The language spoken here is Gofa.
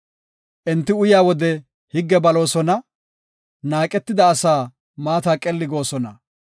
Enti uyaa wode higge baloosona; naaqetida asaa maata qelli goosona.